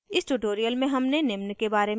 इस tutorial में हमने निम्न के बारे में सीखा: